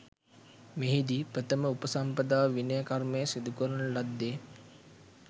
මෙහිදී ප්‍රථම උපසම්පදා විනය කර්මය සිදු කරන ලද්දේ